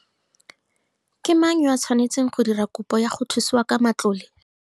Ke mang yo a tshwanetsweng ke go dira kopo ya go thusiwa ka matlole?